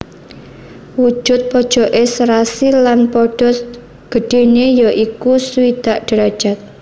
Wujud pojoké serasi lan padha gedhéné ya iku swidak derajat